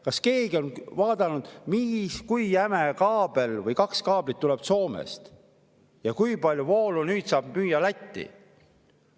Kas keegi on vaadanud, kui jäme kaabel, õigemini kaks kaablit, tuleb Soomest ja kui palju voolu nüüd saab müüa Lätti?